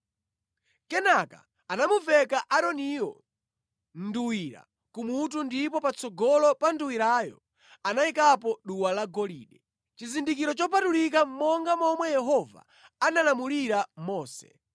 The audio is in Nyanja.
Kenaka anamuveka Aaroniyo nduwira kumutu ndipo patsogolo pa nduwirayo anayikapo duwa lagolide, chizindikiro chopatulika monga momwe Yehova analamulira Mose.